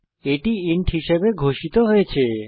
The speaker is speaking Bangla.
এটি ইন্ট হিসাবে ঘোষিত হয়েছে